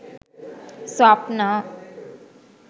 swapna